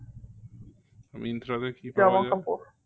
মিন্ত্রাতে কি পাওয়া যায়